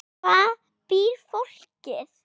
Hvar býr fólkið?